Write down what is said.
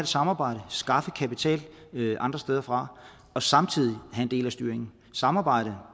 samarbejde skaffe kapital andre steder fra og samtidig have en del af styringen samarbejde